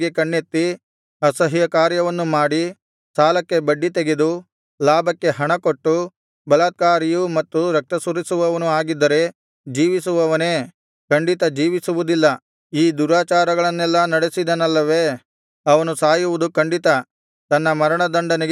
ಅಸಹ್ಯಕಾರ್ಯವನ್ನು ಮಾಡಿ ಸಾಲಕ್ಕೆ ಬಡ್ಡಿತೆಗೆದು ಲಾಭಕ್ಕೆ ಹಣಕೊಟ್ಟು ಬಲಾತ್ಕಾರಿಯೂ ಮತ್ತು ರಕ್ತಸುರಿಸುವವನೂ ಆಗಿದ್ದರೆ ಜೀವಿಸುವನೇ ಖಂಡಿತ ಜೀವಿಸುವುದಿಲ್ಲ ಈ ದುರಾಚಾರಗಳನ್ನೆಲ್ಲಾ ನಡೆಸಿದನಲ್ಲವೇ ಅವನು ಸಾಯುವುದು ಖಂಡಿತ ತನ್ನ ಮರಣ ದಂಡನೆಗೆ ತಾನೇ ಕಾರಣ